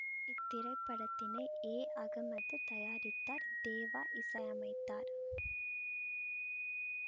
இத்திரைப்படத்தினை எ அகமது தயாரித்தார் தேவா இசையமைத்தார்